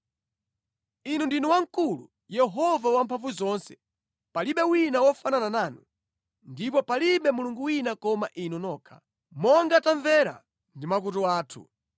Inu ndinu wamkulu, Yehova Wamphamvuzonse! Palibe wina wofanana nanu, ndipo palibe Mulungu wina koma Inu nokha, monga tamvera ndi makutu athu.